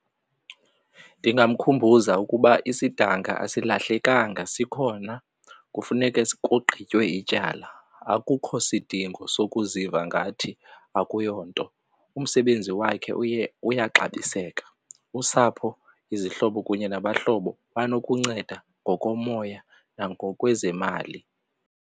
Ndingamkhumbuza ukuba isidanga asilahleenkanga sikhona kufuneke kugqitywe ityala akukho sidingo sokuziva ngathi akuyonto. Umsebenzi wakhe uyaxabiseka, usapho, izihlobo kunye nabahlobo banokunceda ngokomoya nangokwezemali.